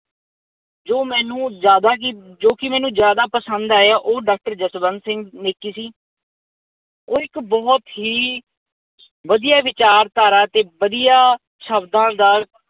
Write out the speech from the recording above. ਜੋ ਮੈਨੂੰ ਜ਼ਿਆਦਾ ਹੀ ਜੋ ਕੀ ਮੈਨੂੰ ਜ਼ਿਆਦਾ ਪਸੰਦ ਆਇਆ ਉਹ ਡਾਕਟਰ ਜਸਵੰਤ ਸਿੰਘ ਨੇਕੀ ਸੀ। ਉਹ ਇੱਕ ਬਹੁਤ ਹੀ ਵਧੀਆ ਵਿਚਾਰਧਾਰਾ ਤੇ ਵਧੀਆ ਸ਼ਬਦਾਂ ਦਾ